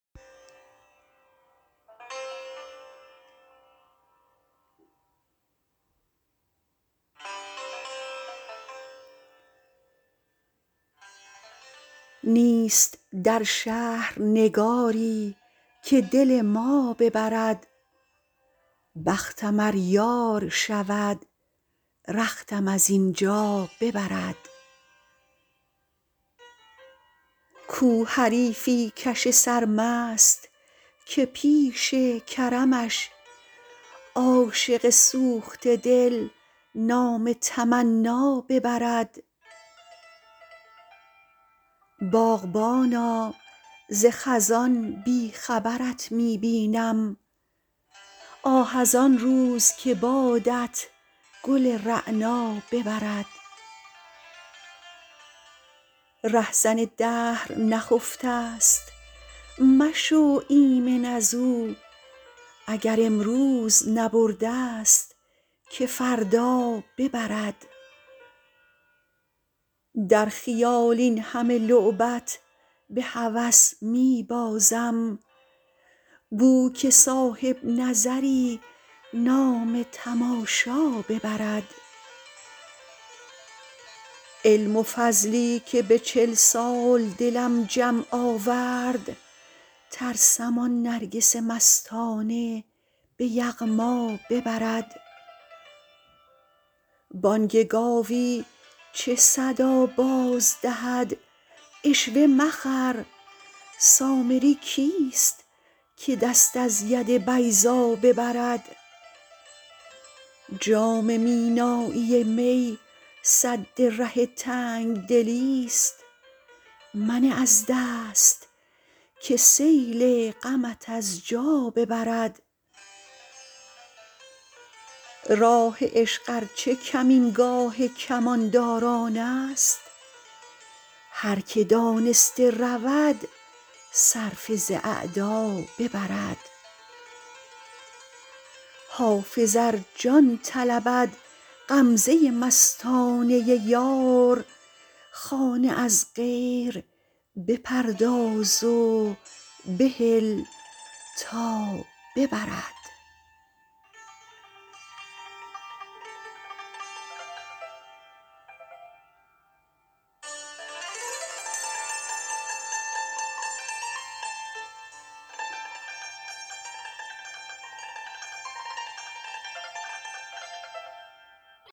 نیست در شهر نگاری که دل ما ببرد بختم ار یار شود رختم از این جا ببرد کو حریفی کش سرمست که پیش کرمش عاشق سوخته دل نام تمنا ببرد باغبانا ز خزان بی خبرت می بینم آه از آن روز که بادت گل رعنا ببرد رهزن دهر نخفته ست مشو ایمن از او اگر امروز نبرده ست که فردا ببرد در خیال این همه لعبت به هوس می بازم بو که صاحب نظری نام تماشا ببرد علم و فضلی که به چل سال دلم جمع آورد ترسم آن نرگس مستانه به یغما ببرد بانگ گاوی چه صدا باز دهد عشوه مخر سامری کیست که دست از ید بیضا ببرد جام مینایی می سد ره تنگ دلی ست منه از دست که سیل غمت از جا ببرد راه عشق ار چه کمینگاه کمانداران است هر که دانسته رود صرفه ز اعدا ببرد حافظ ار جان طلبد غمزه مستانه یار خانه از غیر بپرداز و بهل تا ببرد